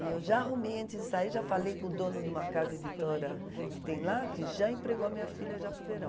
E eu já arrumei antes de sair, já falei com o dono de uma casa editora que tem lá, que já empregou a minha filha já para o verão.